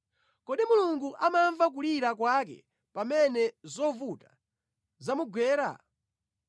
Kodi Mulungu amamva kulira kwake pamene zovuta zamugwera?